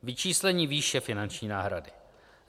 Vyčíslení výše finanční náhrady.